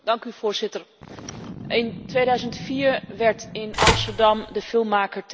In 2004 werd in Amsterdam de filmmaker Theo van Gogh vermoord.